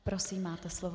Prosím, máte slovo.